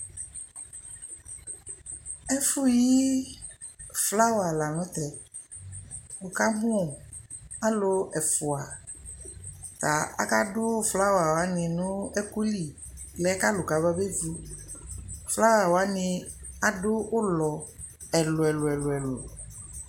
Ɛfʋ yi flawa la nʋ tɛ Wʋkamʋ alʋ ɛfʋa ta akadʋ flawa wanɩ nʋ ɛkʋ li mɛ kʋ alʋ kamabevu Flawa wanɩ adʋ ʋlɔ ɛlʋ-ɛlʋ